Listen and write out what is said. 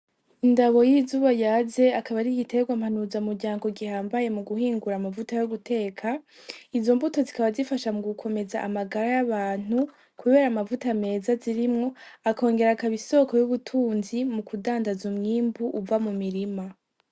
Indabo y'izuba yaze akaba arigiterwa mpanuza muryango gihambaye mu guhingura amavuta yo guteka izo mbuto zikaba zifasha mu gukomeza amagara y'abantu, kubera amavuta meza zirimwo akongera akaba isoko y'ubutunzi mu kudandaza umwimbu uva mu mirima.